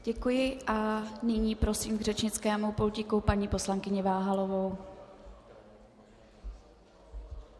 Děkuji, a nyní prosím k řečnickému pultíku paní poslankyni Váhalovou.